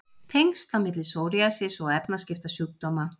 Tengsl á milli psoriasis og efnaskiptasjúkdóma